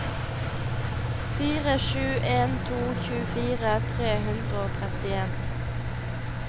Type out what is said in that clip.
fire sju en to tjuefire tre hundre og trettien